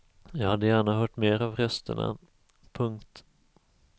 Jag hade gärna hört mer av rösterna. punkt